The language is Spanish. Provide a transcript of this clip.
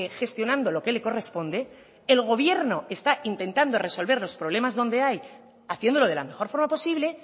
gestionando lo que le corresponde el gobierno está intentando resolver los problemas donde hay haciéndolo de la mejor forma posible